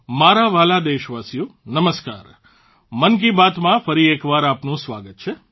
મારા વહાલા દેશવાસીઓ નમસ્કાર મન કી બાતમાં ફરી એકવાર આપ સૌનું સ્વાગત છે